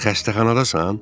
Xəstəxanadasan?